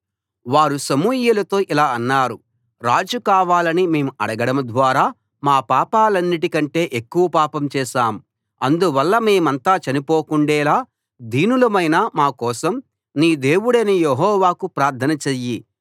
వారు సమూయేలుతో ఇలా అన్నారు రాజు కావాలని మేము అడగడం ద్వారా మా పాపాలన్నిటి కంటే ఎక్కువ పాపం చేశాం అందువల్ల మేమంతా చనిపోకుండేలా దీనులమైన మా కోసం నీ దేవుడైన యెహోవాకు ప్రార్థన చెయ్యి